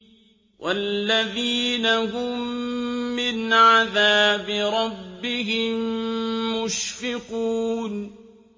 وَالَّذِينَ هُم مِّنْ عَذَابِ رَبِّهِم مُّشْفِقُونَ